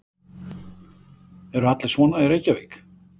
Eru allir svona í Reykjavík?